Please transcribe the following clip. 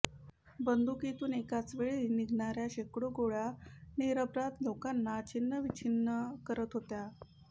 बंदुकीतून एकाचवेळी निघणाऱ्या शेकडो गोळ्या निरपराध लोकांना छिन्नविच्छिन्न करत होत्या